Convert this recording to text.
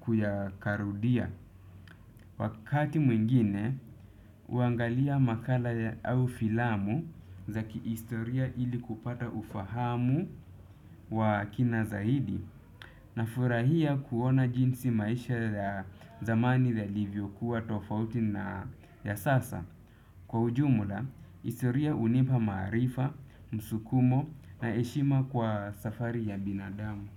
kuyakarudia. Wakati mwingine, huangalia makala au filamu za kiistoria ili kupata ufahamu wa kina zaidi na furahia kuona jinsi maisha ya zamani yalivyokuwa tofauti na ya sasa. Kwa ujumula, historia hunipa maarifa, msukumo na heshima kwa safari ya binadamu.